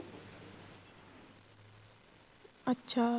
ਅੱਛਾ